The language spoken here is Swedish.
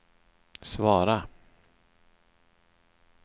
svara